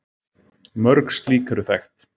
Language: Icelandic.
Mörg slík eru þekkt.